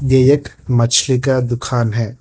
ये एक मछली का दुकान है।